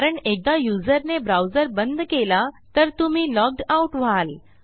कारण एकदा युजरने ब्राउझर बंद केला तर तुम्ही लॉग्ड आउट व्हाल